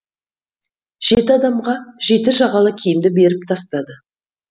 жеті адамға жеті жағалы киімді беріп тастады